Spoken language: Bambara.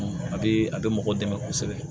a bɛ a bɛ mɔgɔ dɛmɛ kosɛbɛ